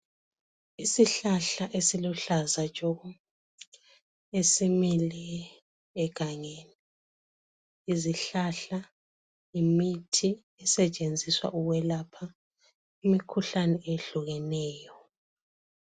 Isihlahla esiluhlaza tshoko esimile egangeni. Izihlahla yimithi esetshenziswa ukwelapha imikhuhlane ehlukeneyo.